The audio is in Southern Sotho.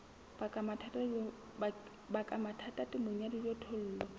baka mathata temong ya dijothollo